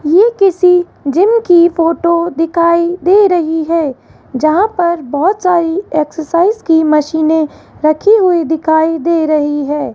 ये किसी जिम की फोटो दिखाई दे रही है जहां पर बहोत सारी एक्सरसाइज की मशीनें रखी हुई दिखाई दे रही है।